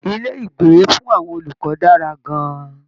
Ilé-ìgbé fún àwọn olùkọ́ dára gan-an